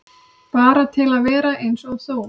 Bara til að vera eins og þú.